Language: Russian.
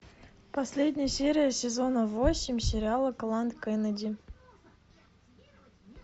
последняя серия сезона восемь сериала клан кеннеди